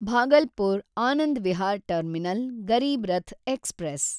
Bhagalpur Anand Vihar terminal Garib Rath express